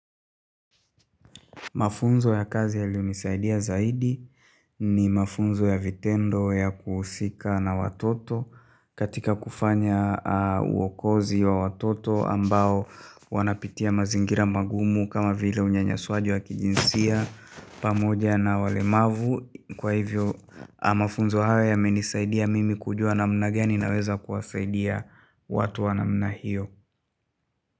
Mafunzo ya kazi yaliyonisaidia zaidi ni mafunzo ya vitendo ya kuhusika na watoto katika kufanya uokozi wa watoto ambao wanapitia mazingira magumu kama vile unyanyaswaji wa kijinsia pamoja na walemavu kwa hivyo mafunzo haya yamenisaidia mimi kujua namna gani naweza kuwasaidia watu wa namna hiyo.